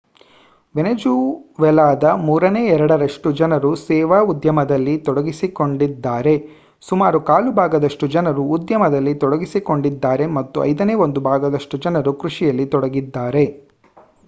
ವೆನಿಜುವೆಲಾದ ಮೂರನೇ ಎರಡರಷ್ಟು ಜನರು ಸೇವಾ ಉದ್ಯಮದಲ್ಲಿ ತೊಡಗಿಸಿಕೊಂಡಿದ್ದಾರೆ ಸುಮಾರು ಕಾಲು ಭಾಗದಷ್ಟು ಜನರು ಉದ್ಯಮದಲ್ಲಿ ತೊಡಗಿಸಿಕೊಂಡಿದ್ದಾರೆ ಮತ್ತು ಐದನೇ ಒಂದು ಭಾಗದಷ್ಟು ಜನರು ಕೃಷಿಯಲ್ಲಿ ತೊಡಗಿದ್ದಾರೆ